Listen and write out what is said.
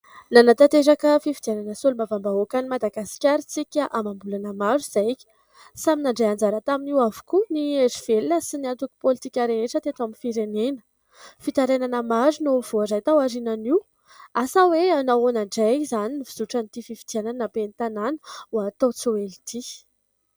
Nanatanteraka fifidianana solombavambahoaka ny Madagasikara isika amam-bolana maro izay ka samy nandray anjara tamin'io avokoa ny hery velona sy ny antoko politika rehetra rehetra teto amin'ny firenena. Fitarainana maro no voaray tao aorianan'io asa hoe hanao ahoana indray izany ny fizotran'ity fifidianana ben'ny tanàna ho atao tsy ho ela ity.